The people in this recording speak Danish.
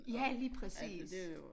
Ja lige præcis